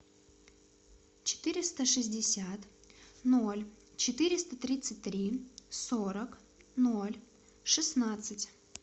четыреста шестьдесят ноль четыреста тридцать три сорок ноль шестнадцать